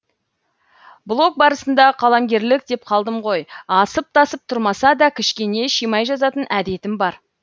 блог барысында қаламгерлік деп қалдым ғой асып тасып тұрмаса да кішкене шимай жазатын әдетім бар